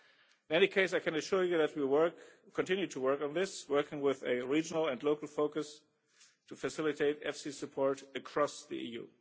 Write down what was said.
In any case I can assure you that we continue to work on this, working with a regional and local focus to facilitate EFSI support across the